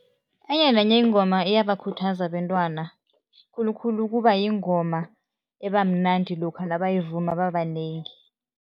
Enye nenye ingoma iyabakhuthaza abentwana, khulukhulu kuba yingoma ebamnandi lokha nabayivuma babanengi.